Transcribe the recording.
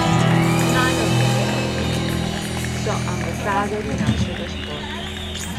Znajo se vesti, so ambasadorji našega športa.